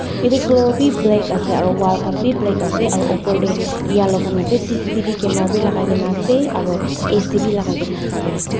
etu floor bhi black ase aru wall khan bhi black ase aru upar te yellow khan ase C_C T_V camera khan bhi lagai kena ase aru a c bhi lagai kena ase.